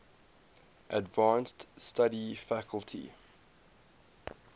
advanced study faculty